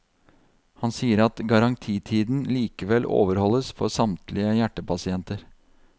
Han sier at garantitiden likevel overholdes for samtlige hjertepasienter.